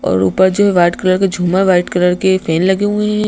और ऊपर जो वाइट कलर के झूमर वाइट कलर के फैन लगे हुए हैं।